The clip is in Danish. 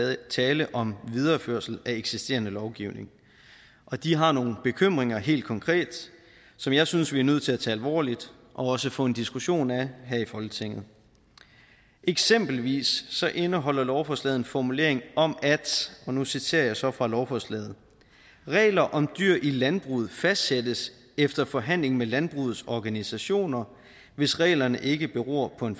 er tale om en videreførelse af eksisterende lovgivning og de har nogle bekymringer helt konkret som jeg synes vi er nødt til at tage alvorligt og også få en diskussion af her i folketinget eksempelvis indeholder lovforslaget en formulering om og nu citerer jeg så fra lovforslaget regler om dyr i landbruget fastsættes efter forhandling med landbrugets organisationer hvis reglerne ikke beror på en